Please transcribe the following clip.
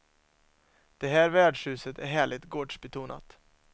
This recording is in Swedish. Det här värdshuset är härligt gårdsbetonat.